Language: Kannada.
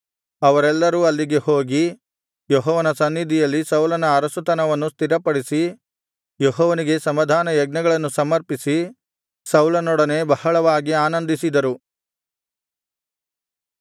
ಅವರೆಲ್ಲರೂ ಅಲ್ಲಿಗೆ ಹೋಗಿ ಯೆಹೋವನ ಸನ್ನಿಧಿಯಲ್ಲಿ ಸೌಲನ ಅರಸುತನವನ್ನು ಸ್ಥಿರಪಡಿಸಿ ಯೆಹೋವನಿಗೆ ಸಮಾಧಾನ ಯಜ್ಞಗಳನ್ನು ಸಮರ್ಪಿಸಿ ಸೌಲನೊಡನೆ ಬಹಳವಾಗಿ ಆನಂದಿಸಿದರು